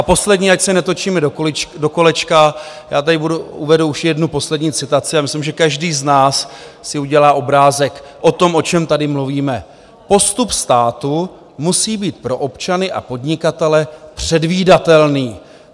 A poslední, ať se netočíme do kolečka, já tady uvedu už jednu poslední citaci a myslím, že každý z nás si udělá obrázek o tom, o čem tady mluvíme: "Postup státu musí být pro občany a podnikatele předvídatelný.